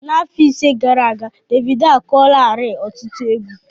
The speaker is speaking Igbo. N'afọ ise gara aga, Davidoo akụọlarii ọtụtụ égwu